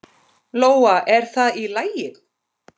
Lóa: Er það í lagi?